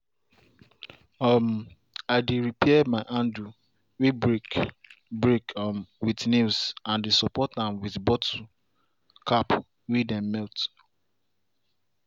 um i dey repair my handle way break break um with nails and dey support am with bottle cap way dem melt.